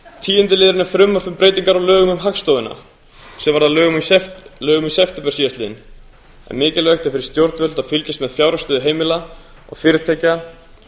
tíundi liðurinn er frumvarp um breytingar á lögum um hagstofuna sem varð að lögum í september síðastliðnum en mikilvægt er fyrir stjórnvöld að fylgjast með fjárhagsstöðu heimila og fyrirtækja